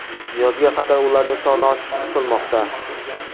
Yozga qadar ularning soni oshishi kutilmoqda.